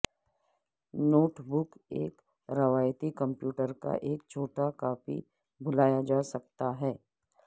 note book ایک روایتی computer کا ایک چھوٹا کاپی بلایا جا سکتا ہے